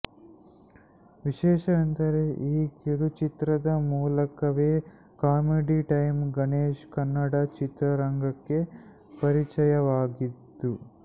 ವಿಶೇಷವೆಂದರೆ ಈ ಕಿರುಚಿತ್ರದ ಮೂಲಕವೇ ಕಾಮಿಡಿ ಟೈಮ್ ಗಣೇಶ್ ಕನ್ನಡ ಚಿತ್ರರಂಗಕ್ಕೆ ಪರಿಚಯವಾಗಿದ್ದು